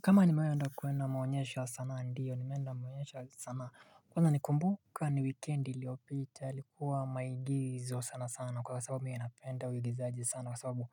Kama nimewahi kwenda kuona maonyesho sanaa, ndio nimeenda maonyesho ya sanaa, kwanza naikumbuka ni weekend iliopita, ilikuwa maigizo sana sana, kwa sababu mimi napenda uigizaji sana, kwa sababu